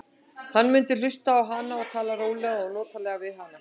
Hann mundi hlusta á hana og tala rólega og notalega við hana.